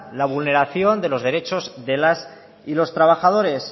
la vulneración de los derechos de las y los trabajadores